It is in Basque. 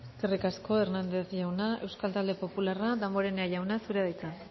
eskerrik asko hernández jauna euskal talde popularra damborenea jauna zurea da hitza